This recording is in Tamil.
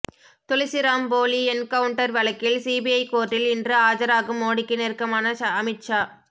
துளசிராம் போலி என்கவுன்ட்டர் வழக்கில் சிபிஐ கோர்ட்டில் இன்று ஆஜராகும் மோடிக்கு நெருக்கமான அமித் ஷா